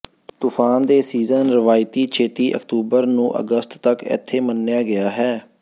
ਤੂਫ਼ਾਨ ਦੇ ਸੀਜ਼ਨ ਰਵਾਇਤੀ ਛੇਤੀ ਅਕਤੂਬਰ ਨੂੰ ਅਗਸਤ ਤੱਕ ਇੱਥੇ ਮੰਨਿਆ ਗਿਆ ਹੈ